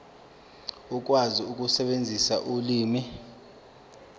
ukwazi ukusebenzisa ulimi